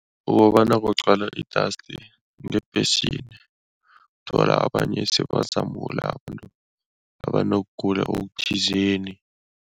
Ukobana kugcwala i-dust ngebhesini. Uthola abanye sebazamula, abantu abonokugula okuthizeni.